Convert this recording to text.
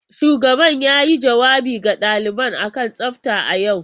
Shugaban yayi jawabi ga daliban kan tsafta a yau.